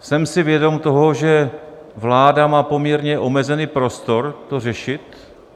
Jsem si vědom toho, že vláda má poměrně omezený prostor to řešit.